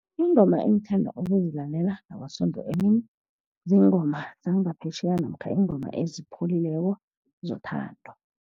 Ingoma engithanda ukuzilalela ngaboSondo emini, ziingoma zangaphetjheya, namkha iingoma ezipholileko zothando.